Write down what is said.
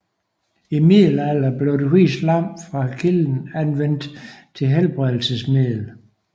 I middelalderen blev det hvide slam fra kilden anvendt som helbredelsesmiddel